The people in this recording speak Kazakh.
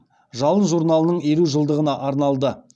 жалын журналының елу жылдығына арналды